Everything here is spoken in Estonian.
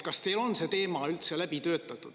Kas teil on see teema üldse läbi töötatud?